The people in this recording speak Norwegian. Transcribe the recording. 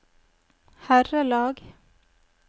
herrelag